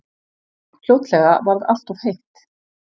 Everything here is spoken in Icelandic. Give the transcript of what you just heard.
Fljótlega varð alltof heitt.